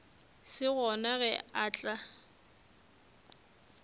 se gona ge a tla